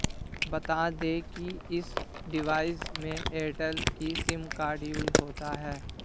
बता दें कि इस डिवाइस में एयरटेल का सिम कार्ड यूज होता है